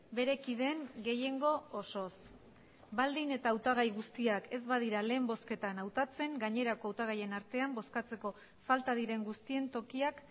bere kideen gehiengo osoz baldin eta hautagai guztiak ez badira lehen bozketan hautatzen gainerako hautagaien artean bozkatzeko falta diren guztien tokiak